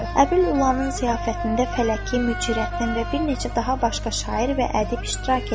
Əbil Ulının ziyafətində Fələki, Mücərrəttin və bir neçə daha başqa şair və ədib iştirak edirdi.